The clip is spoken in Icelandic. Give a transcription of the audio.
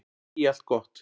Ég segi allt gott.